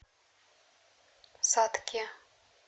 сатке